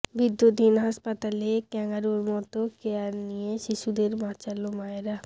বিদ্যুৎহীন হাসপাতালে ক্যাঙারুর মতো কেয়ার নিয়ে শিশুদের বাঁচাল মায়েরা